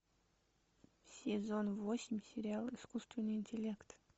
сезон восемь сериал искусственный интеллект